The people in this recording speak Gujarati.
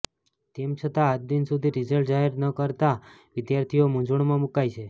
તેમ છતાં આજદિન સુધી રીઝલ્ટ જાહેર ન કરાતાં વિદ્યાર્થીઓ મૂંઝવણમાં મૂકાય છે